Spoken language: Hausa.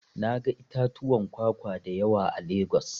Na ga itatuwan kwakwa da yawa a Legas.